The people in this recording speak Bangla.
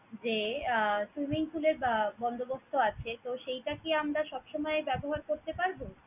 যে আহ swimming pool এর আহ বন্দোবস্ত আছে। তো সেইটা কি আমরা সবসময় ব্যাবহার করতে পারবো?